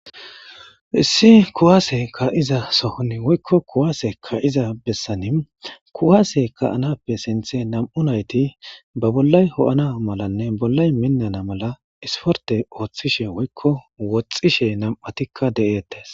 issi kuwaase ka'iza sohoni woykko kuwaase ka'iza bessani kuwaase ka'anappe sinthe nam'u nayti ba bollay ho'ana malanne bollay minnana mala isporite ooththishe woyikko woxxishe nam'atikka de'ettees